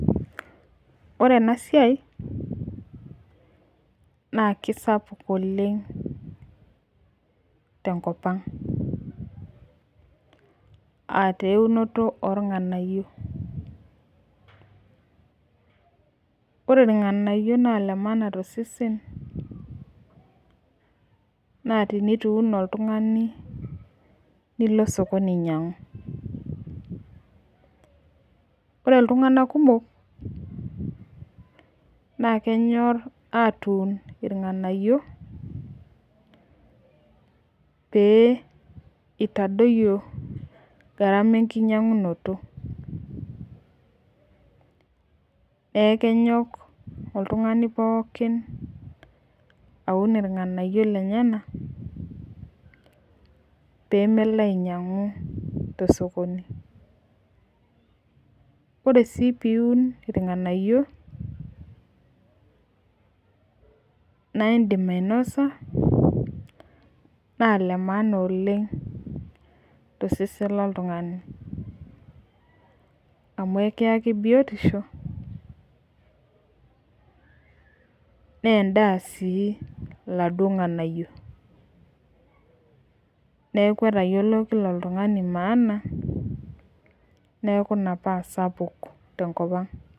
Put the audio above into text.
ore ena siai naa kisapuk oleng' tenkopang' aataa eunoto oo ilng'anayio ore ilng'anayio naa ile maana tosesen, naa tenetu iun oltung'ani nilo sokoni ainyiang'u, ore iltung'anak kumok naa kenyor atuun ilng'anayio pee itadoyio enkinyang'unoto neeeku kitadoyio oltung'ani poooki aun ilng'ayio lenyanak pee melo ainyiang'u tesokoni , ore sii pee iun ilng'anayio pee inya naa ile maana oleng' tosesen lo tung'ani tebiotisho naa edaa sii iladuo ng'anayio neeku etayiolo kila oltung'ani maana neeku ina paa sapuk tenkopang'.